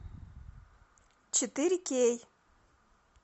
четыре кей